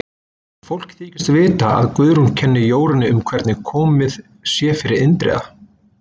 Fólk þykist vita að Guðrún kenni Jórunni um hvernig komið sé fyrir Indriða.